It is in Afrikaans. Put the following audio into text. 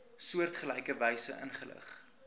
soortgelyke wyse ingelig